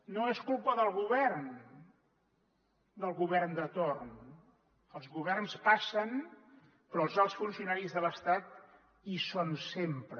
no és culpa del govern del govern de torn els governs passen però els alts funcionaris de l’estat hi són sempre